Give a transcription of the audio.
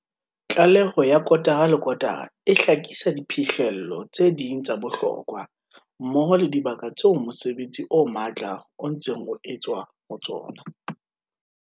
Tlaleho ya kotara le kotara e hlakisa diphihlello tse ding tsa bohlokwa, mmoho le dibaka tseo mosebetsi o matla o ntseng o etswa ho tsona.